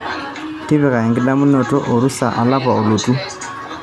tipika enkitadamunoto orusa olapa olotu